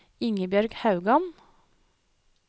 Ingebjørg Haugan